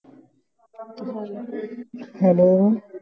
Hello